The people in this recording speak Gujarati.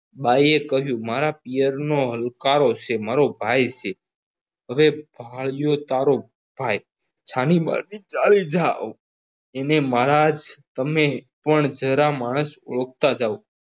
બાયે કહ્યું મારા પિયરનો હુંકારો છે મારો ભાઈ છે હવે ભાડ્યો તારો ભાઈ છાનીમાની ચાલી જાવ એને મારા જ તમે પણ જરા માણસ ઓળખતા જાવ